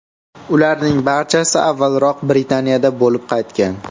ularning barchasi avvalroq Britaniyada bo‘lib qaytgan.